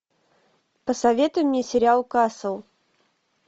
посоветуй мне сериал касл